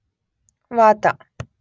ವಾತ